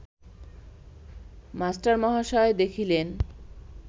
মাস্টারমহাশয় দেখিলেন